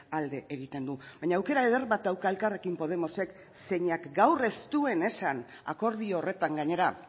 alde egiten du baina aukera eder bat dauka elkarrekin podemosek zeinak gaur ez duen esan akordio horretan gainera